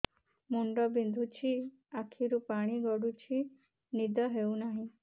ମୁଣ୍ଡ ବିନ୍ଧୁଛି ଆଖିରୁ ପାଣି ଗଡୁଛି ନିଦ ହେଉନାହିଁ